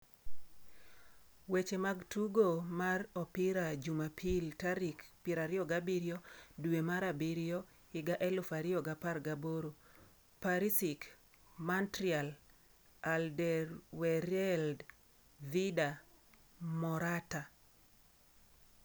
Weche mag tugo mar opira Jumapil tarik 27.07.2018: Perisic, Martial, Alderweireld, Vida, Morata